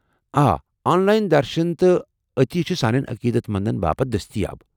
آ، online درشُن تہٕ عطیہ چھِ سانٮ۪ن عقیدت مندن باپتھ دٔستیاب۔